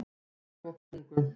Leirvogstungu